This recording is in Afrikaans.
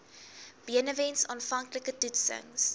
benewens aanvanklike toetsings